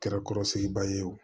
Nɛgɛkɔrɔsigiba ye o